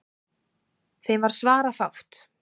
Þeim varð svarafátt.